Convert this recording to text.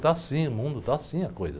Está assim o mundo, está assim a coisa.